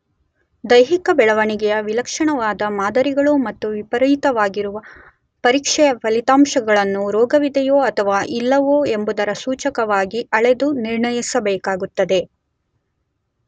ದೈಹಿಕ ಬೆಳವಣಿಗೆಯ ವಿಲಕ್ಷಣವಾದ ಮಾದರಿಗಳು ಮತ್ತು ವಿಪರೀತವಾಗಿರುವ ಪರೀಕ್ಷೆಯ ಫಲಿತಾಂಶಗಳನ್ನು ರೋಗವಿದೆಯೋ ಅಥವಾ ಇಲ್ಲವೋ ಎಂಬುದರ ಸೂಚಕವಾಗಿ ಅಳೆದು ನಿರ್ಣಯಿಸಬೇಕಾಗುತ್ತದೆ.